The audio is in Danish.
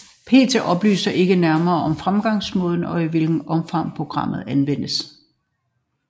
PET oplyser ikke nærmere om fremgangsmåden og i hvilket omfang programmet anvendes